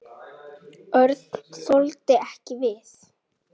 Örn þoldi ekki við.